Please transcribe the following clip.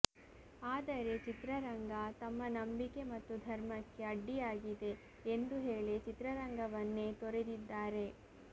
ಆದರೆ ಚಿತ್ರರಂಗ ತಮ್ಮ ನಂಬಿಕೆ ಮತ್ತು ಧರ್ಮಕ್ಕೆ ಅಡ್ಡಿಯಾಗಿದೆ ಎಂದು ಹೇಳಿ ಚಿತ್ರರಂಗವನ್ನೇ ತೊರೆದಿದ್ದಾರೆ